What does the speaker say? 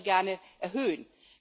die wollen wir gerne erhöhen.